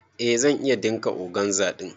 Eh zan iya ɗinka organza ɗin.